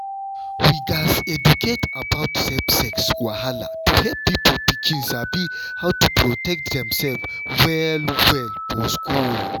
we gats educate about safe sex wahala to help pikin sabi how to protect demself well-well for school.